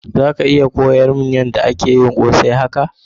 Zaka iya koyar mun yada ana yin kose haka?